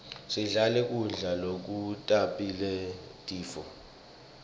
singadli kudla lokutasibangela tifo